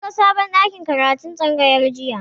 Mun ga sabon ɗakin karatun tsangayar jiya.